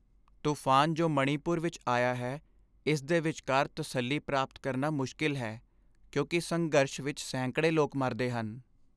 ਤੂਫਾਨ ਜੋ ਮਣੀਪੁਰ ਵਿੱਚ ਆਇਆ ਹੈ ਇਸ ਦੇ ਵਿਚਕਾਰ ਤਸੱਲੀ ਪ੍ਰਾਪਤ ਕਰਨਾ ਮੁਸ਼ਕਿਲ ਹੈ, ਕਿਉਂਕਿ ਸੰਘਰਸ਼ ਵਿੱਚ ਸੈਂਕੜੇ ਲੋਕ ਮਰਦੇ ਹਨ।